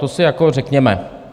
To si jako řekněme.